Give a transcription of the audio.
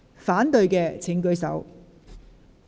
反對的請舉手。